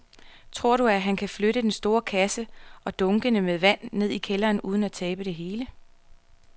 Tror du, at han kan flytte den store kasse og dunkene med vand ned i kælderen uden at tabe det hele?